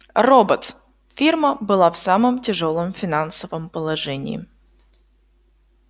роботс фирма была в самом тяжёлом финансовом положении